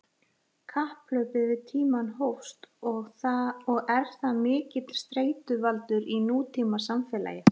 Kapphlaupið við tímann hófst og er það mikill streituvaldur í nútímasamfélagi.